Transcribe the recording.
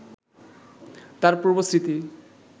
তার পূর্ব স্মৃতি